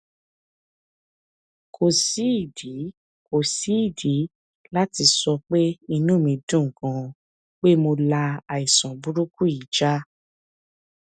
kò sídìí kò sídìí láti sọ pé inú mi dùn ganan pé mo la àìsàn burúkú yìí já